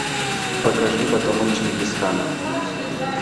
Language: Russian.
покажи потомок чингисхана